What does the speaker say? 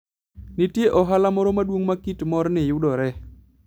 Nitie ohala moro maduong' ma kit morni yudoree.